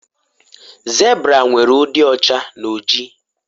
zebra nwere udi ọcha na oji